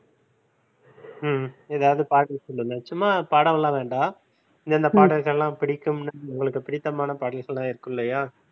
ஹம் ஏதாவது பாடல் சொல்லுங்க சும்மா பாடவல்லாம் வேண்டாம் இந்தந்த பாடல்கள்லாம் பிடிக்கும்ன்னு உங்களுக்குப் பிடித்தமான பாடல்கள்லாம் இருக்கும் இல்லையா